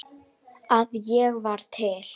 að ég var til.